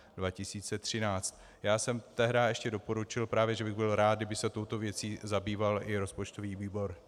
Já jsem tehdy ještě doporučil právě, že bych byl rád, kdyby se touto věcí zabýval i rozpočtový výbor.